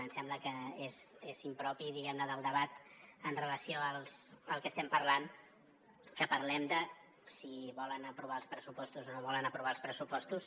em sembla que és impropi diguem ne del debat amb relació al que estem parlant que parlem de si volen aprovar els pressupostos o no volen aprovar els pressupostos